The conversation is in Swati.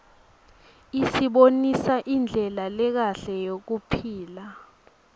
isibonisa indlela lekahle yekuphila